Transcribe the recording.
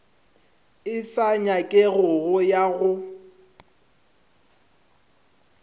e sa nyakegego ya go